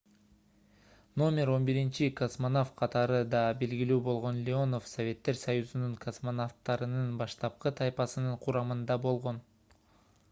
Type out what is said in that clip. №11 космонавт катары да белгилүү болгон леонов советтер союзунун космонавттарынын баштапкы тайпасынын курамында болгон